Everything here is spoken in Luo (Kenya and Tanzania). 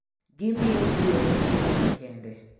Gimiyo gwen chiemo makende.